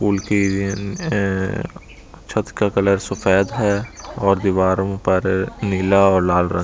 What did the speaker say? उनकी अ छत का कलर सफेद है और दीवारो पर नीला और लाल रंग--